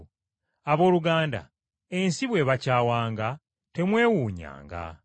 Abooluganda, ensi bwe bakyawanga, temwewuunyanga.